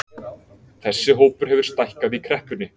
Þessi hópur hefur stækkað í kreppunni